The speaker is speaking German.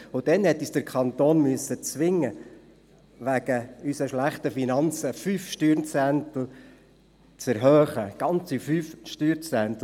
Damals hatte uns der Kanton zu einer Erhöhung um 5 Steuerzehntel zwingen müssen, aufgrund unserer schlechten Finanzlage – ganze 5 Steuerzehntel.